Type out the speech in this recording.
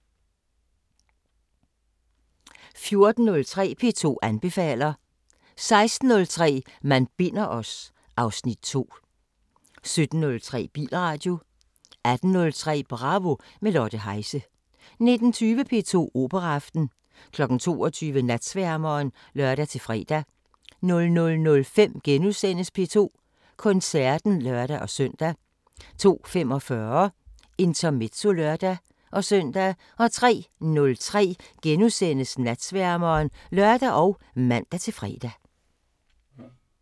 14:03: P2 anbefaler 16:03: Man binder os... (Afs. 2) 17:03: Bilradio 18:03: Bravo – med Lotte Heise 19:20: P2 Operaaften 22:00: Natsværmeren (lør-fre) 00:05: P2 Koncerten *(lør-søn) 02:45: Intermezzo (lør-søn) 03:03: Natsværmeren *(lør og man-fre)